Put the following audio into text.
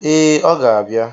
Ee, ọ ga-abịa.